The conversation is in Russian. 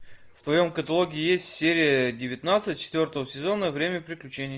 в твоем каталоге есть серия девятнадцать четвертого сезона время приключений